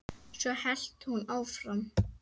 Svo hélt hún áfram